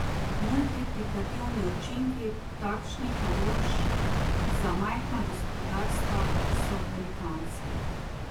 Multiplikativni učinki takšnih naložb za majhna gospodarstva so velikanski.